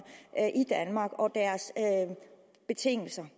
i danmark og deres betingelser